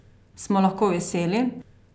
Smo lahko veseli?